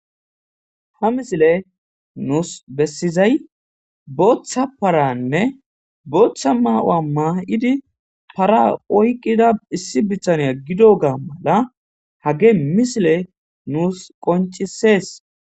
ha misile nuus bessizay booththa paranne booththa maa7u7a maa7idi para oyqqida issi bitaniya gido gaa mala hage misile nuus qoncisees